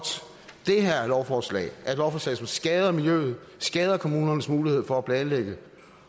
det er er lovforslag et lovforslag der skader miljøet og skader kommunernes mulighed for at planlægge